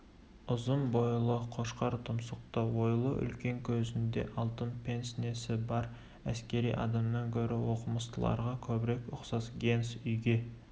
ұзын бойлы қошқар тұмсықты ойлы үлкен көзінде алтын пенснесі бар әскери адамнан гөрі оқымыстыларға көбірек ұқсас генс үйге